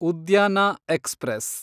ಉದ್ಯಾನ ಎಕ್ಸ್‌ಪ್ರೆಸ್